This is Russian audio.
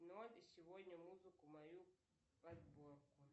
и сегодня музыку мою подборку